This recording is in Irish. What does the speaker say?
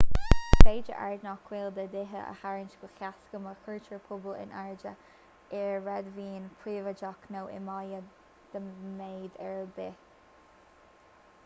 is féidir aird nach bhfuil de dhíth a tharraingt go héasca má chuirtear puball in airde ar réadmhaoin phríobháideach nó i mbaile de mhéid ar bith